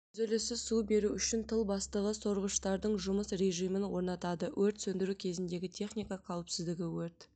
үзіліссіз су беру үшін тыл бастығы сорғыштардың жұмыс режимін орнатады өрт сөндіру кезіндегі техника қауіпсіздігі өрт